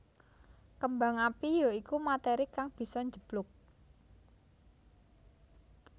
Kembang api ya iku materi kang bisa njeblug